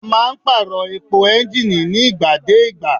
A máa ń pàrọ̀ epo ẹ́ńgìnì nígbà dé ìgbà.